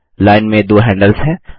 line में दो handles हैं